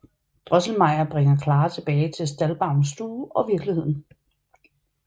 Drosselmeyer bringer Clara tilbage til Stahlbaums stue og virkeligheden